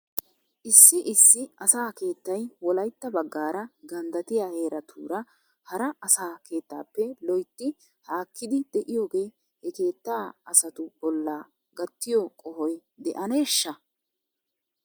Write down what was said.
Issi issi asaa keettay wolaytta baggaara ganddatiya heeratuura hara asaa keettaappe loytti haakkidi de'iyoogee he keettaa asatu bolla gattiyoo qohoy de'eneeshsha?